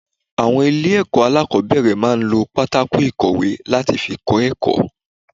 Àwọn ilé èkó alákòóbèrè máa n lo pátákó ìkọ̀wé láti fi kó èkó